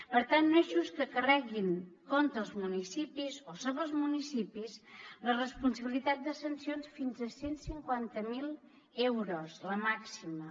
per tant no és just que carreguin contra els municipis o sobre els municipis la responsabilitat de sancions fins a cent i cinquanta miler euros la màxima